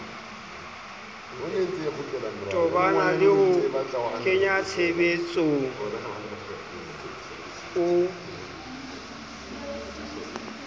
tobana le ho kenyatshebetsong o